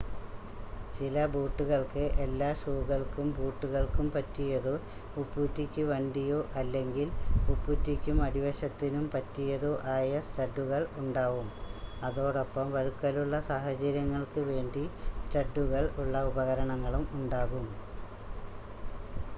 ചില ബൂട്ടുകൾക്ക് എല്ലാ ഷൂകൾക്കും ബൂട്ടുകൾക്കും പറ്റിയതോ ഉപ്പൂറ്റിക്ക് വണ്ടിയോ അല്ലെങ്കിൽ ഉപ്പൂട്ടിയ്ക്കും അടിവശത്തിനും പറ്റിയതോ ആയ സ്റ്റഡ്ഡുകൾ ഉണ്ടാവും അതോടൊപ്പം വഴുക്കലുള്ള സാഹചര്യങ്ങൾക്ക് വേണ്ടി സ്റ്റഡ്ഡുകൾ ഉള്ള ഉപകരണങ്ങളും ഉണ്ടാകും